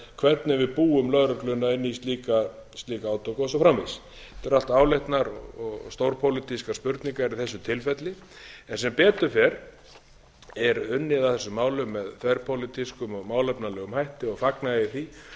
hvernig við búum lögregluna inn í slík átök og svo framvegis þetta eru allt áleitnar og stórpólitískar spurningar í þessu tilfelli en sem betur fer er unnið að þessum málum með þverpólitískum og málefnalegum hætti og fagna ég